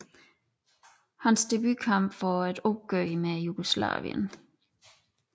Hans debutkamp var et opgør mod Jugoslavien